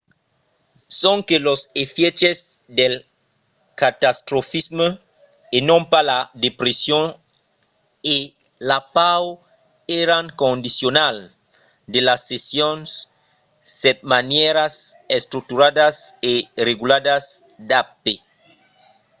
sonque los efièches del catastrofisme e non pas la depression e la paur èran condicionals de las sessions setmanièras estructuradas e regularas d'ap